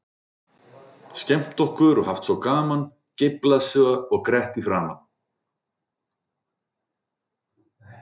Skemmt okkur og haft svo gaman, geiflað svo og grett í framan.